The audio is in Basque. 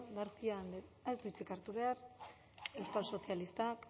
garcia andrea ez du hitzik hartu behar euskal sozialistak